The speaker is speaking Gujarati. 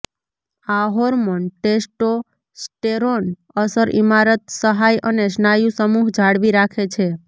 આ હોર્મોન ટેસ્ટોસ્ટેરોન અસર ઇમારત સહાય અને સ્નાયુ સમૂહ જાળવી રાખે છે